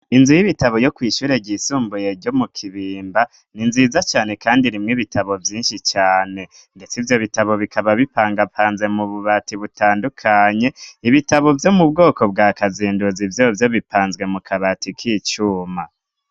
Inzu y'ibitabo yo kwishure ryisumbuye ryo mu kibimba ni nziza cane, kandi rimwe ibitabo vyinshi cane, ndetse vyo bitabo bikaba bipangapanze mu bubati butandukanye ibitabo vyo mu bwoko bwa kazinduzi vyo vyo bipanzwe mu kabati k'icuma.